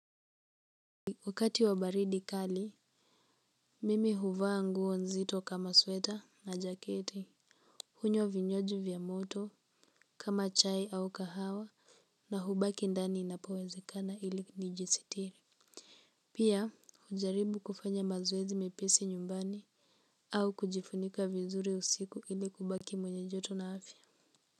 Wakati wa baridi kali, mimi huvaa nguo nzito kama sweta na jaketi. Hunywa vinywaji vya moto kama chai au kahawa na hubaki ndani inapowezekana ili nijisitiri. Pia hujaribu kufanya mazoezi mepesi nyumbani au kujifunika vizuri usiku ili kubaki mwenye joto na afya.